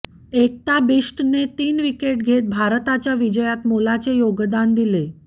एकता बिष्टने तीन विकेट घेत भारताच्या विजयात मोलाचे योगदान दिले